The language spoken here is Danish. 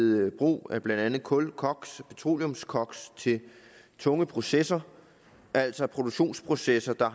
brug af blandt andet kul koks og petroleumskoks til tunge processer altså produktionsprocesser der